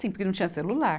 Sim, porque não tinha celular.